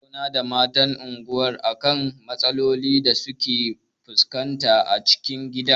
Mun tattauna da matan unguwar a kan matsalolin da suke fuskanta a cikin gida.